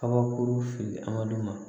Kabakuru fili a man d'u ma